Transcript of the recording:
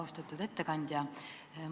Austatud ettekandja!